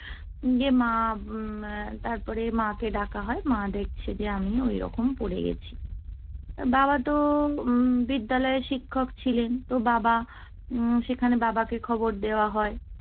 দিয়ে মা, তারপরে মা কে ডাকা হয়। মা দেখছে যে আমি ওইরকম পড়ে গেছি। বাবা তো বিদ্যালয়ের শিক্ষক ছিলেন, তো বাবা উম সেখানে বাবাকে খবর দেওয়া হয়।